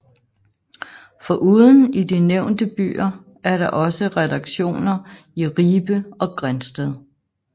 Foruden i de nævnte byer er der også redaktioner i Ribe og Grindsted